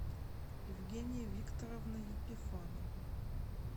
евгения викторовна епифанова